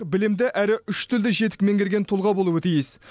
білімді әрі үш тілді жетік меңгерген тұлға болуы тиіс